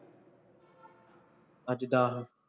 ਅੱਜ ਦੱਸ